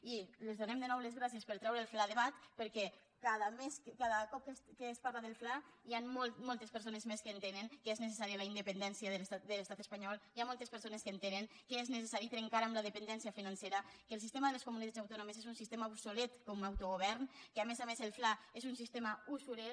i els donem de nou les gràcies per treure el fla a debat perquè cada cop que es parla del fla hi han moltes persones més que entenen que és necessària la independència de l’estat espanyol hi ha moltes persones que entenen que és necessari trencar amb la dependència financera que el sistema de les comunitats autònomes és un sistema obsolet com a autogovern que a més a més el fla és un sistema usurer